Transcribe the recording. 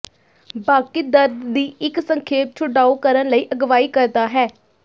ਬਾਕੀ ਦਰਦ ਦੀ ਇੱਕ ਸੰਖੇਪ ਛੁਡਾਊ ਕਰਨ ਲਈ ਅਗਵਾਈ ਕਰਦਾ ਹੈ